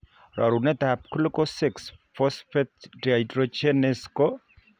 Rorunet ab Glucose 6 phosphate dehydrogenase ko